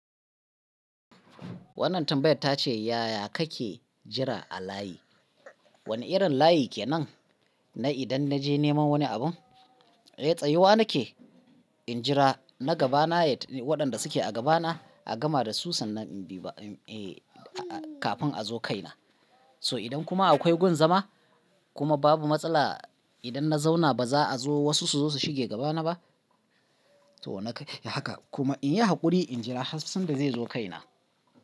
Wannan tambayar ta ce, "Yaya kake jira a layi? Wane irin layi kenan na idan na je neman wani abun?" Eh, tsayuwa nake in jira na gaba na, waɗanda suke a gaba na a gama da su sannan in bi kafin a zo kai na. So idan kuma akwai gun zama kuma babu matsala idan na zauna ba za a zo wasu su zo su shige gaba na ba. To na kai haka kuma in yi haƙuri in jira har sanda zai zo kai na.